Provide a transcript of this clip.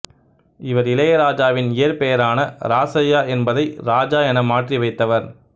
இவர் இளையராஜாவின் இயற்பெயரான இராசய்யா என்பதை இராஜா என மாற்றி வைத்தவர்